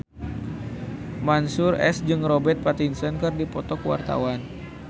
Mansyur S jeung Robert Pattinson keur dipoto ku wartawan